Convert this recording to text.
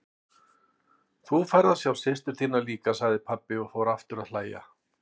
Þá færðu að sjá systur þína líka, sagði pabbi og fór aftur að hlæja.